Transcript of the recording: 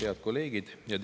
Head kolleegid!